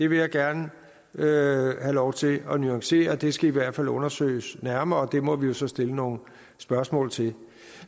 vil jeg gerne have lov til at nuancere det skal i hvert fald undersøges nærmere og det må vi jo så stille nogle spørgsmål til